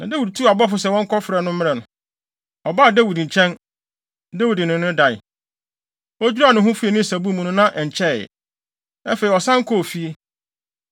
Na Dawid tuu abɔfo sɛ wɔnkɔfrɛ no mmrɛ no. Ɔbaa Dawid nkyɛn. Dawid ne no dae. (Odwiraa ne ho fii ne nsabu mu no, na ɛnkyɛe.) Afei, ɔsan kɔɔ fie.